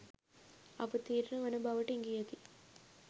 අවතීර්ණ වන බවට ඉඟියකි